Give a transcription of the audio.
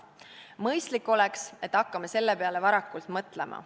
Mõistlik oleks, et hakkame selle peale varakult mõtlema.